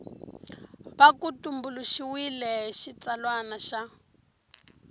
va ku tumbuluxiwile xitsalwana xa